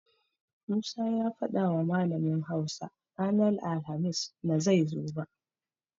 Musa ya fadawa malamin Hausa ranar alhamis na zai zo ba.